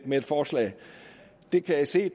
med et forslag det kan jeg se